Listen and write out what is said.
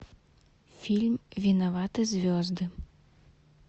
фильм виноваты звезды